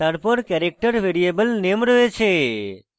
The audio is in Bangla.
তারপর ক্যারেক্টার ভ্যারিয়েবল রূপে name রয়েছে